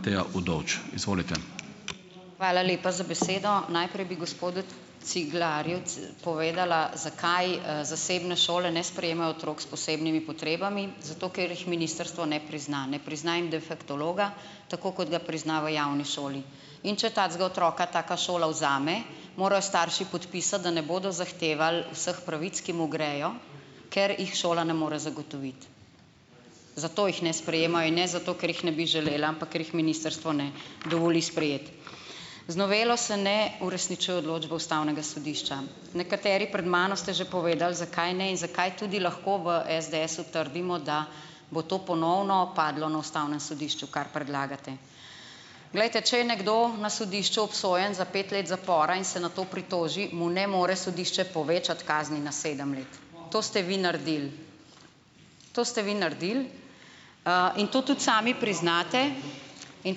Hvala lepa za besedo. Najprej bi gospodu Ciglerju povedala, zakaj, zasebne šole ne sprejemajo otrok s posebnimi potrebami. Zato, ker jih ministrstvo ne prizna. Ne prizna jim defektologa, tako kot ga prizna v javni šoli. In če takega otroka taka šola vzame, morajo starši podpisati, da ne bodo zahtevali vseh pravic, ki mu grejo, ker jih šola ne more zagotoviti. Zato jih ne sprejemajo in ne zato, ker jih ne bi želeli, ampak, ker jih ministrstvo ne dovoli sprejeti. Z novelo se ne uresničuje odločbe ustavnega sodišča. nekateri pred mano ste že povedali zakaj ne in zakaj tudi lahko v SDS-u trdimo, da bo to ponovno padlo na ustavnem sodišču, kar predlagate. Glejte, če je nekdo na sodišču obsojen za pet let zapora in se nato pritoži, mu ne more sodišče povečati kazni na sedem let. To ste vi naredili, to ste vi naredili, in to tudi sami priznate in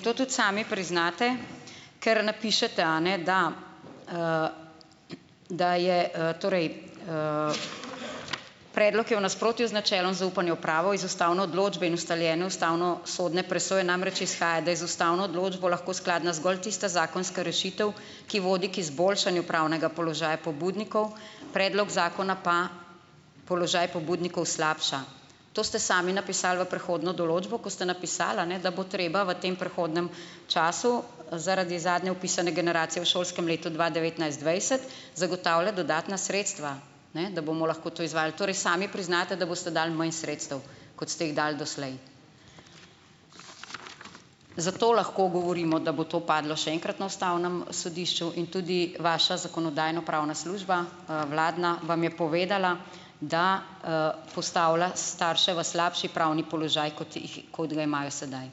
to tudi sami priznate, ker napišete, a ne da da je, torej: Predlog je v nasprotju z načelom zaupanja v pravo. Iz ustavne odločbe in ustaljene ustavnosodne presoje namreč izhaja, da je z ustavno odločbo lahko skladna zgolj tista zakonska rešitev, ki vodi k izboljšanju pravnega položaja pobudnikov, predlog zakona pa položaj pobudnikov slabša. To ste sami napisali v prehodno določbo, ko ste napisali a ne, da bo treba v tem prehodnem času zaradi zadnje vpisane generacije v šolskem letu dva devetnajst-dvajset, zagotavljati dodatna sredstva, ne da bomo lahko to izvajali. Torej sami priznate, da boste dali manj sredstev, kot ste jih dal doslej. Zato lahko govorimo, da bo to padlo še enkrat na ustavnem sodišču in tudi vaša Zakonodajno-pravna služba, vladna vam je povedala, da, postavlja starše v slabši pravni položaj, kot kot ga imajo sedaj.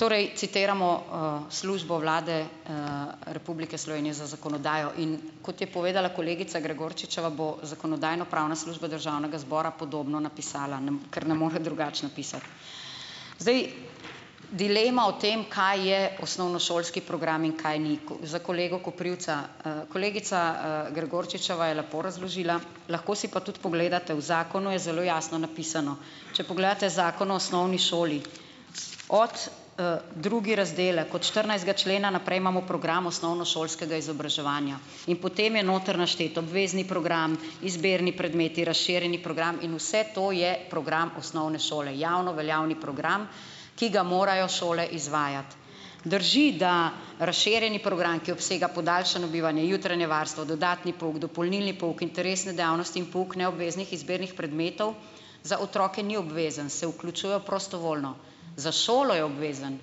Torej citiramo, službo vlade, Republike Slovenije za zakonodajo, in kot je povedala kolegica Gregorčičeva, bo Zakonodajno-pravna služba Državnega zbora podobno napisala, ker ne more drugače napisati. Zdaj, dilema o tem, kaj je osnovnošolski program in kaj ni, za kolega Koprivca. Kolegica, Gregorčičeva je lepo razložila, lahko si pa tudi pogledate, v zakonu je zelo jasno napisano. Če pogledate Zakon o osnovni šoli od, drugi razdelek, od štirinajstega člena naprej imamo program osnovnošolskega izobraževanja in potem je noter naštet obvezni program, izbirni predmeti, razširjeni program in vse to je program osnovne šole, javnoveljavni program, ki ga morajo šole izvajati. Drži, da razširjeni program, ki obsega podaljšano bivanje, jutranje varstvo, dodatni pouk, dopolnilni pouk, interesne dejavnosti in pouk neobveznih izbirnih predmetov, za otroke ni obvezen. Se vključujejo prostovoljno. Za šolo je obvezen,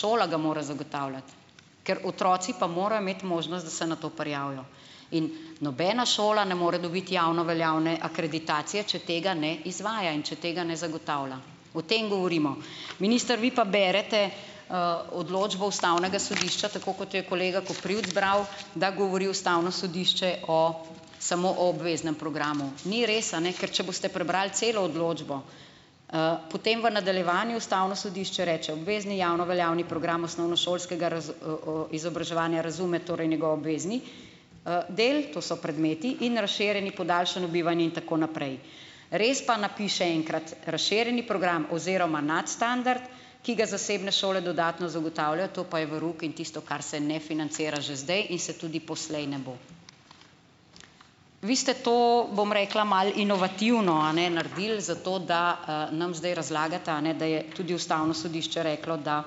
šola ga mora zagotavljati, ker otroci pa morajo imeti možnost, da se na to prijavijo in nobena šola ne more dobiti javnoveljavne akreditacije, če tega ne izvaja in če tega ne zagotavlja, o tem govorimo. Minister vi pa berete, odločbo ustavnega sodišča, tako kot jo je kolega Koprivc bral, da govori ustavno sodišče o samo o obveznem programu. Ni res, a ne, ker če boste prebrali celo odločbo, potem v nadaljevanju ustavno sodišče reče: "Obvezni javnoveljavni program osnovnošolskega izobraževanja razume torej njegov obvezni, del, to so predmeti, in razširjeni podaljšano bivanje in tako naprej." Res pa napiše enkrat: "Razširjeni program oziroma nadstandard, ki ga zasebne šole dodatno zagotavljajo." To pa je verouk in tisto, kar se ne financira že zdaj in se tudi poslej ne bo. Vi ste to, bom rekla, malo inovativno a ne naredili, zato da, nam zdaj razlagate a ne, da je tudi ustavno sodišče reklo, da,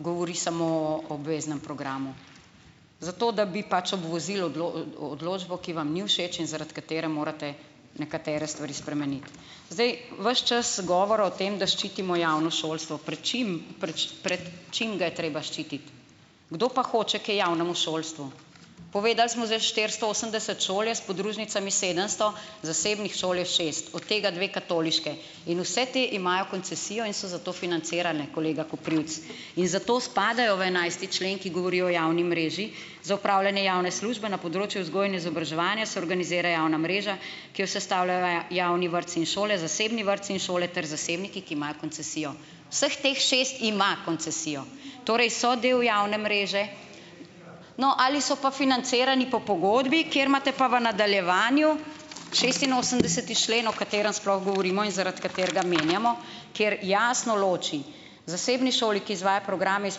govori samo o obveznem programu, zato da bi pač obvozili odločbo, ki vam ni všeč in zaradi katere morate nekatere stvari spremeniti. Zdaj, ves čas je govora o tem, da ščitimo javno šolstvo. Pred čim pred čim ga je treba ščititi? Kdo pa hoče kaj javnemu šolstvu? Povedal smo za štiristo osemdeset šol, je s podružnicami sedemsto. Zasebnih šol je šest od tega dve katoliški. In vse te imajo koncesijo in so zato financirane, kolega Koprivc. In zato spadajo v enajsti člen, ki govori o javni mreži: "Za opravljanje javne službe na področju vzgoje in izobraževanja se organizira javna mreža, ki jo sestavljajo javni vrtci in šole, zasebni vrtci in šole ter zasebniki, ki imajo koncesijo." Vseh teh šest ima koncesijo. Torej, so del javne mreže ... No, ali so pa financirani po pogodbi, kjer imate pa v nadaljevanju šestinosemdeseti člen, o katerem sploh govorimo in zaradi katerega menjamo, kjer jasno loči: "Zasebni šoli, ki izvaja programe iz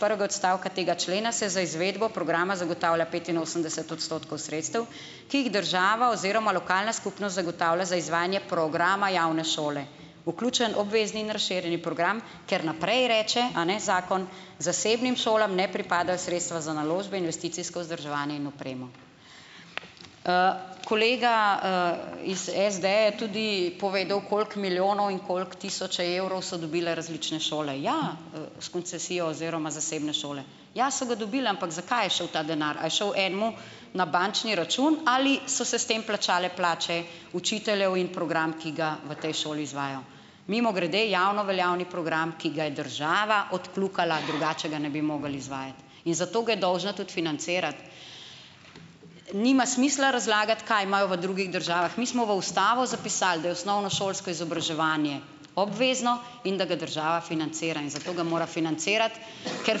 prvega odstavka tega člena, se za izvedbo programa zagotavlja petinosemdeset odstotkov sredstev, ki jih država oziroma lokalna skupnost zagotavlja za izvajanje programa javne šole." Vključen obvezni in razširjeni program, ker naprej reče, a ne, zakon, zasebnim šolam ne pripadajo sredstva za naložbe, investicijsko vzdrževanje in opremo. Kolega, iz SD je tudi povedal, koliko milijonov in koliko tisočev evrov so dobile različne šole. Ja, s koncesijo oziroma zasebne šole. Ja, so ga dobile. Ampak za kaj je šel ta denar? A je šel enemu na bančni račun ali so se s tem plačale plače učiteljev in program, ki ga v tej šoli izvaja? Mimogrede, javnoveljavni program, ki ga je država odkljukala, drugače ga ne bi mogli izvajati, in zato ga je dolžna tudi financirati. Nima smisla razlagati, kaj imajo v drugih državah. Mi smo v ustavo zapisali, da je osnovnošolsko izobraževanje obvezno in da ga država financira. In zato ga mora financirati, ker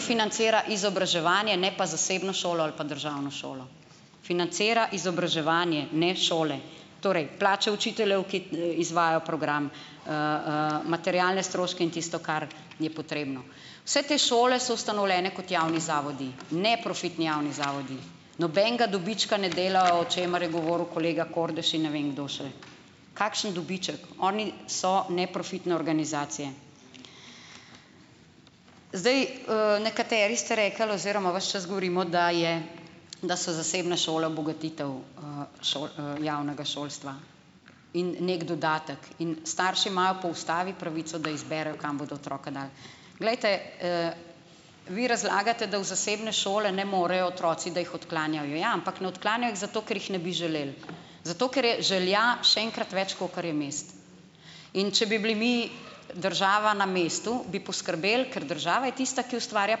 financira izobraževanje, ne pa zasebno šolo ali pa državno šolo. Financira izobraževanje, ne šole. Torej, plače učiteljev, ki izvajajo program, materialne stroške in tisto, kar je potrebno. Vse te šole so ustanovljene kot javni zavodi, neprofitni javni zavodi. Nobenega dobička ne delajo, o čemer je govoril kolega Kordiš in ne vem kdo še. Kakšen dobiček? Oni so neprofitne organizacije. Zdaj, nekateri ste rekli oziroma ves čas govorimo, da je da so zasebne šole bogatitev, javnega šolstva in neki dodatek. In starši imajo po ustavi pravico, da izberejo, kam bodo otroke dali. glejte, vi razlagate, da v zasebne šole ne morejo otroci, da jih odklanjajo. Ja, ampak ne odklanjajo jih zato, ker jih ne bi želeli. Zato, ker je želja še enkrat več, kakor je mest. In če bi bili mi država na mestu bi poskrbeli, ker država je tista, ki ustvarja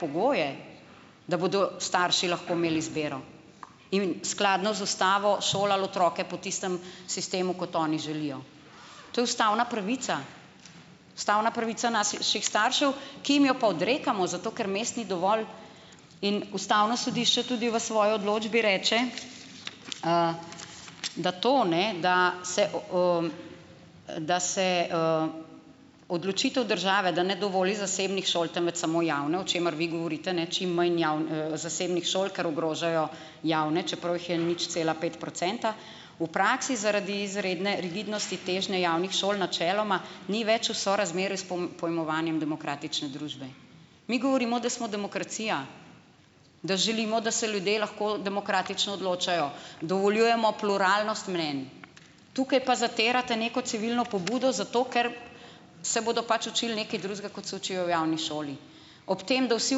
pogoje, da bodo starši lahko imeli izbiro. In skladno z ustavo šolali otroke po tistem sistemu, kot oni želijo. To je ustavna pravica. Ustavna pravica naših staršev, ki jim jo pa odrekamo, zato ker mest ni dovolj. In ustavno sodišče tudi v svoji odločbi reče, da to ne da se, da se, odločitev države, da ne dovoli zasebnih šol temveč samo javne, o čemer vi govorite ne, čim manj zasebnih šol, ker ogrožajo javne, čeprav jih je nič cela pet procenta, v praksi zaradi izredne rigidnosti težne javnih šol načeloma ni več v sorazmerju s pojmovanjem demokratične družbe. Mi govorimo, da smo demokracija, da želimo, da se ljudje lahko demokratično odločajo. Dovoljujemo pluralnost mnenj. Tukaj pa zatirate neko civilno pobudo zato, ker se bodo pač učili nekaj drugega, kot se učijo v javni šoli. Ob tem, da vsi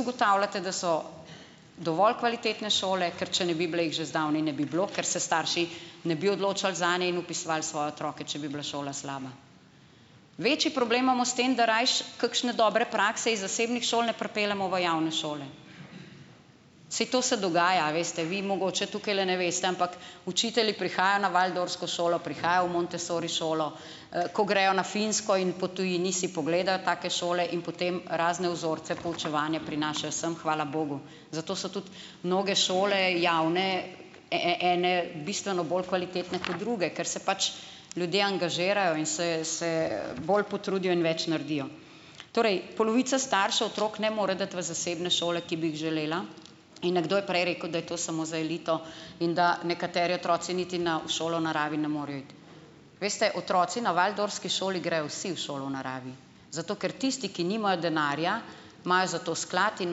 ugotavljate, da so dovolj kvalitetne šole. Ker če ne bi bile, jih že zdavnaj ne bi bilo, ker se starši ne bi odločali zadnje in vpisovali svoje otroke, če bi bila šola slaba. Večji problem imamo s tem, da rajši kakšne dobre prakse iz zasebnih šol ne pripeljemo v javne šole. Saj to se dogaja, veste, vi mogoče tukajle ne veste, ampak učitelji prihajajo na waldorfsko šolo, prihajajo v montessori šolo. ko grejo na Finsko in po tujini si pogledajo take šole, in potem razne vzorce poučevanja prinašajo sem, hvala bogu. Zato so tudi mnoge šole javne, ene bistveno bolj kvalitetne kot druge, ker se pač ljudje angažirajo in se se bolj potrudijo in več naredijo. Torej, polovica staršev otrok ne more dati v zasebne šole, ki bi jih želela, in nekdo je prej rekel, da je to samo za elito, in da nekateri otroci niti na v šolo v naravi ne morejo iti. Veste, otroci na waldorfski šoli grejo vsi v šolo v naravi, zato ker tisti, ki nimajo denarja, imajo za to sklad in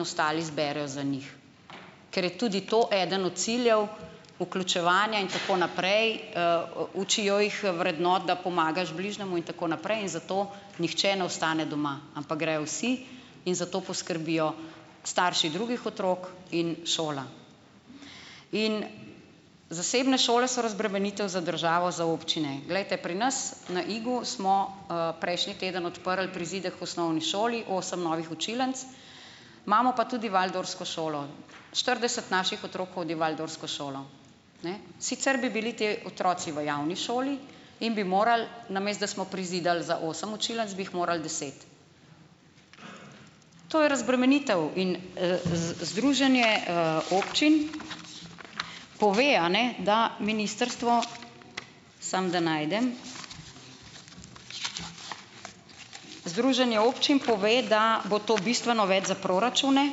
ostali zberejo za njih. Ker je tudi to eden od ciljev vključevanja in tako naprej, učijo jih vrednot, da pomagaš bližnjemu, in tako naprej, in zato nihče ne ostane doma, ampak grejo vsi in za to poskrbijo starši drugih otrok in šola. In zasebne šole so razbremenitev za državo za občine. Glejte, pri nas na Igu smo, prejšnji teden odprli prizidek k osnovni šoli, osem novih učilnic. Imamo pa tudi waldorfsko šolo. Štirideset naših otrok hodi v waldorfsko šolo. Ne, sicer bi bili te otroci v javni šoli in bi morali, namesto da smo prizidali za osem učilnic, bi jih moral deset. To je razbremenitev in, združenje, občin pove, a ne, da ministrstvo, samo da najdem, združenje občin pove, da bo to bistveno več za proračune,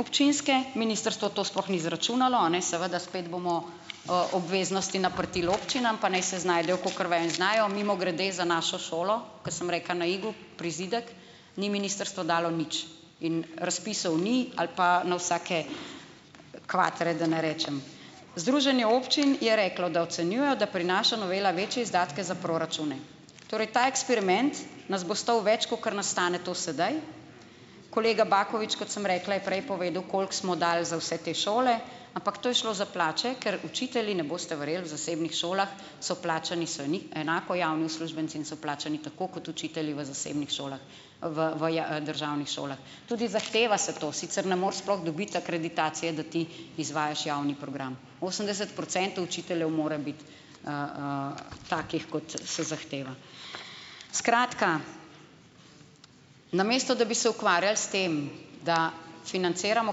občinske, ministrstvo to sploh ni izračunalo, a ne, seveda spet bomo, obveznosti naprtili občinam, pa naj se znajdejo kakor vejo in znajo. Mimogrede, za našo šolo, ke sem rekla, na Igu, prizidek, ni ministrstvo dalo nič in razpisov ni ali pa na vsake kvatre, da ne rečem. Združenje občin je reklo, da ocenjujejo, da prinaša novela večje izdatke za proračune. Torej, ta eksperiment nas bo stal več, kakor nas stane to sedaj. Kolega Baković, kot sem rekla, je prej povedal, koliko smo dali za vse te šole, ampak to je šlo za plače, ker učitelji, ne boste verjeli, v zasebnih šolah so plačani so v enako javni uslužbenci in so plačani tako kot učitelji v zasebnih šolah, v v v državnih šolah. Tudi zahteva se to, sicer ne moreš sploh dobiti akreditacije, da ti izvajaš javni program. Osemdeset procentov učiteljev mora biti, takih, kot se zahteva. Skratka, namesto da bi se ukvarjali s tem, da financiramo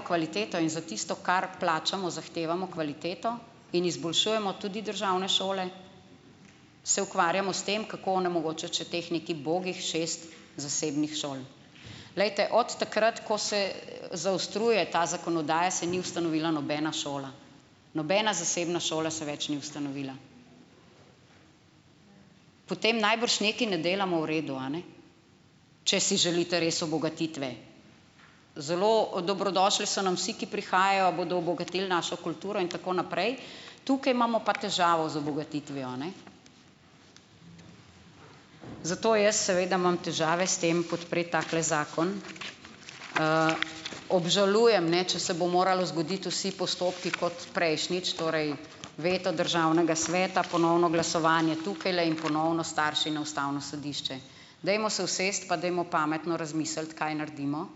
kvaliteto in za tisto, kar plačamo, zahtevamo kvaliteto in izboljšujemo tudi državne šole, se ukvarjamo s tem, kako onemogočiti še teh nekih ubogih šest zasebnih šol. Glejte, od takrat, ko se zaostruje ta zakonodaja, se ni ustanovila nobena šola, nobena zasebna šola se več ni ustanovila. Potem najbrž nekaj ne delamo v redu, a ne če si želite res obogatitve. Zelo dobrodošli so nam vsi, ki prihajajo, bodo obogatili našo kulturo in tako naprej, tukaj imamo pa težavo z obogatitvijo, a ne. Zato jaz seveda imam težave s tem podpreti takle zakon. Obžalujem, ne, če se bodo morali zgoditi vsi postopki kot prejšnjič, torej veto državnega sveta, ponovno glasovanje tukajle in ponovno starši na ustavno sodišče. Dajmo se usesti pa dajmo pametno razmisliti, kaj naredimo.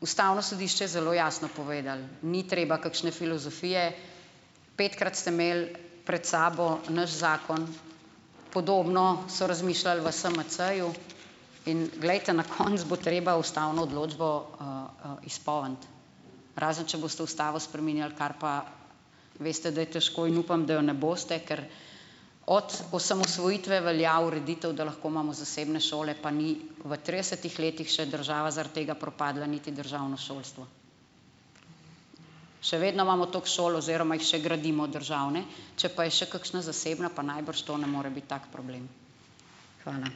Ustavno sodišče je zelo jasno povedalo, ni treba kakšne filozofije, petkrat ste imeli pred sabo naš zakon, podobno so razmišljali v SMC-ju in glejte, na koncu bo treba ustavno odločbo, izpolniti, razen če boste ustavo spreminjali, kar pa veste, da je težko in upam, da je ne boste, ker od osamosvojitve velja ureditev, da lahko imamo zasebne šole, pa ni v tridesetih letih še država zaradi tega propadla niti državno šolstvo. Še vedno imamo toliko šol oziroma jih še gradimo, državne. Če pa je še kakšna zasebna, pa najbrž to ne more biti tak problem. Hvala.